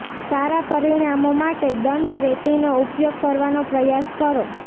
સારા પરિણામો માટે દંડ રેતીનો ઉપયોગ કરવાનો પ્રયાસ કરો